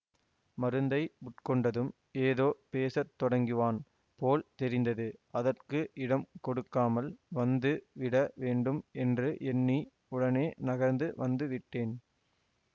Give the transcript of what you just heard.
மருந்தை உட்கொண்டதும் ஏதோ பேச தொடங்குவான் போல் தெரிந்தது அதற்கு இடம் கொடுக்காமல் வந்து விடவேண்டும் என்று எண்ணி உடனே நகர்ந்து வந்துவிட்டேன்